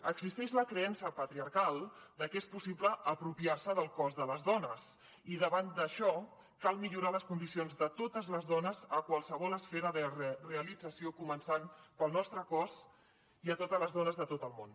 existeix la creença patriarcal de que és possible apropiar se del cos de les dones i davant d’això cal millorar les condicions de totes les dones a qualsevol esfera de realització començant pel nostre cos i a totes les dones de tot el món